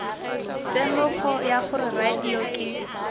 temogo ya gore radio ke